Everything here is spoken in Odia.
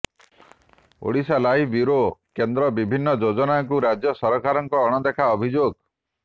ଓଡ଼ିଶାଲାଇଭ ବ୍ୟୁରୋ କେନ୍ଦ୍ରର ବିଭିନ୍ନ ଯୋଜନାକୁ ରାଜ୍ୟ ସରକାରଙ୍କ ଅଣଦେଖା ଅଭିଯୋଗ